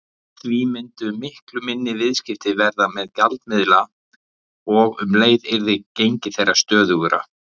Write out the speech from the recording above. Því myndu miklu minni viðskipti verða með gjaldmiðla og um leið yrði gengi þeirra stöðugra.